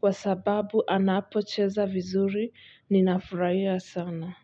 kwa sababu anapocheza vizuri ninafurahia sana.